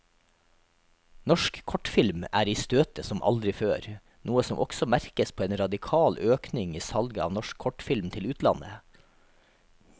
Norsk kortfilm er i støtet som aldri før, noe som også merkes på en radikal økning i salget av norsk kortfilm til utlandet.